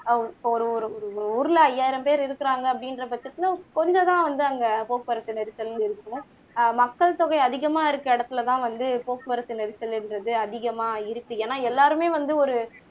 ஒரு ஒரு ஊர்ல ஐயாயிரம் பேர் இருக்குறாங்கா அப்படிங்குற பட்சத்துல கொஞ்சம் தான் வந்து அங்க போக்குவரத்து நெரிசல்ண்டு இருக்கு ஆஹ் மக்கள் தொகை அதிகமாக இருக்கிற இடத்துலதான் வந்து போக்குவரத்து நெரிசல் என்றது அதிகமா இருக்கு ஏன்னா எல்லாருமே வந்து ஒரு